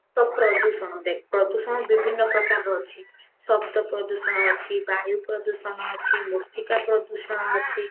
ତ ପ୍ରଦୂଷଣ ଦେଖ ପ୍ରଦୂଷଣ ବିଭିନ୍ନ ପ୍ରକାରର ଅଛି ଶବ୍ଦ ପ୍ରଦୂଷଣ ଅଛି ବାୟୁ ପ୍ରଦୂଷଣ ଅଛି ମୃତ୍ତିକା ପ୍ରଦୂଷଣ ଅଛି